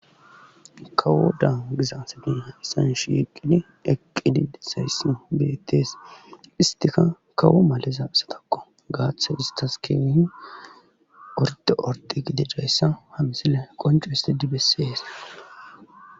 Kawodan giza assati hayssan shieqqidi eqqidi dizayssi beetees istika kawo maliza assatakko gaaththas istas kehie orde orde gididayssa ha msile qoncissidi bessees